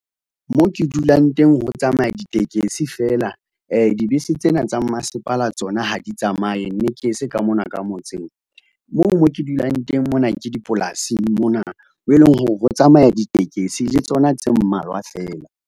Mo ke dulang teng ho tsamaya ditekesi feela. Dibese tsena tsa mmasepala tsona ha di tsamaye, mme ke se ka mona ka motseng moo mo ke dulang teng mona ke dipolasing mona, mo leng hore ho tsamaya ditekesi le tsona tse mmalwa feela.